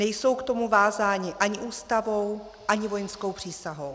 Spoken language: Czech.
Nejsou k tomu vázáni ani Ústavou ani vojenskou přísahou.